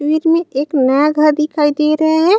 --वीर में एक नया घर दिखाई दे रहा है।